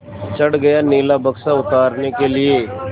चढ़ गया नीला बक्सा उतारने के लिए